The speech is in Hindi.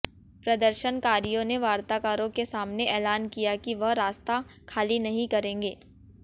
प्रदर्शनकारियों ने वार्ताकारों के सामने एलान किया कि वह रास्ता खाली नहीं करेंगे